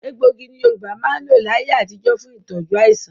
Egbògi ni Yorùbá máa ń lò láyé àtijó fún tí tọju àìsàn.